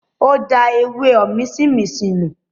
Ó da “ewé òmísínminsìn ” nù.